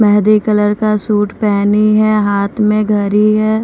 Mehndi colour का suit पहनी है हाथ में घरी है।